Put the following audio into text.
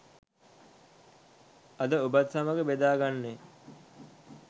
අද ඔබත් සමග බෙදා ගන්නේ.